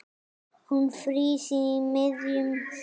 Hún frýs í miðjum smók.